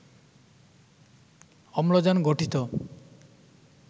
অম্লজান গঠিত